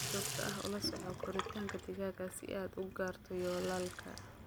Si joogto ah ula soco koritaanka digaagga si aad u gaarto yoolalka.